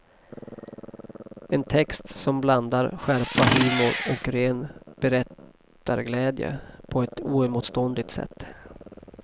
En text som blandar skärpa, humor och ren berättarglädje på ett oemotståndligt sätt.